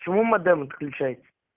почему модем отключается